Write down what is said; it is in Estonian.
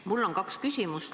Mul on kaks küsimust.